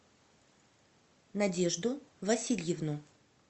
надежду васильевну